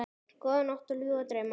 Góða nótt og ljúfa drauma.